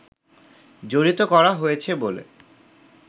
জড়িত করা হয়েছে বলে